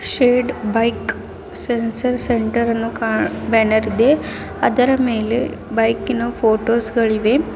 Shed bike ಶರ ಶರ centre ಅನ್ನು ಕಾ ಬ್ಯಾನರ್ ಇದೆ ಅದರ ಮೇಲೆ ಬೈಕಿನ ಫೋಟೋಸ್ ಗಳಿವೆ.